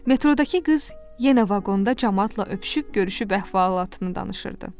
Metrodakı qız yenə vaqonda camaatla öpüşüb görüşüb əhvalatını danışırdı.